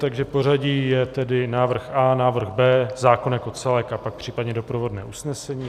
Takže pořadí je tedy návrh A, návrh B, zákon jako celek a pak případně doprovodné usnesení.